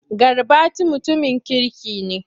Garbati mutumin kirki ne.